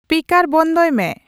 speaker ᱵᱚᱱᱫᱚᱭ ᱢᱮ